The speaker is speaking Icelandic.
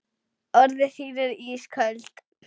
Orð þín eru ísköld.